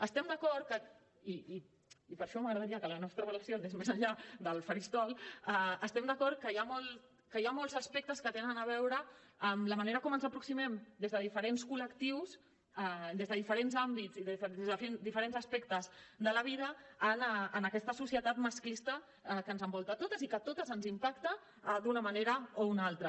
estem d’acord i per això m’agradaria que la nostra relació anés més enllà del faristol que hi han molts aspectes que tenen a veure amb la manera com ens aproximem des de diferents col·lectius des de diferents àmbits i des de diferents aspectes de la vida a aquesta societat masclista que ens envolta a totes i que a totes ens impacta d’una manera o una altra